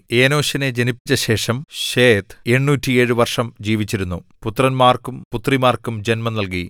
ഏനോശിനെ ജനിപ്പിച്ച ശേഷം ശേത്ത് 807 വർഷം ജീവിച്ചിരുന്നു പുത്രന്മാർക്കും പുത്രിമാർക്കും ജന്മം നൽകി